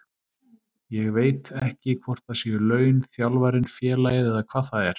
Ég veit ekki hvort það séu laun, þjálfarinn, félagið eða hvað það er.